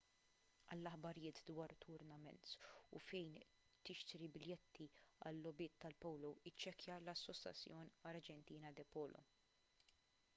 għal aħbarijiet dwar tournaments u fejn tixtri biljetti għal-logħbiet tal-polo iċċekkja l-asociacion argentina de polo